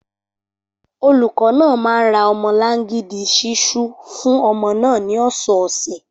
Olùkọ́ náà máa ń ra ọmọlangidi ṣiṣu fún ọmọ náà ní ọ̀sọ̀ọ̀sẹ̀